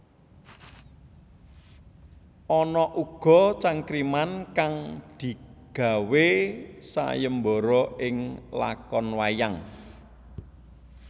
Ana uga cangkriman kang digawé sayembara ing lakon wayang